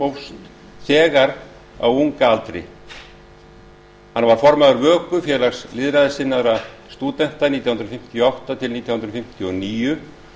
félagsmálastörfum hófst þegar á unga aldri hann var formaður vöku félags lýðræðissinnaðra stúdenta nítján hundruð fimmtíu og átta til nítján hundruð fimmtíu og níu